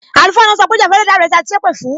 Àlùfáà náà sọ pé, Ja fún Ẹlẹda rẹ tí a ti sépè fún!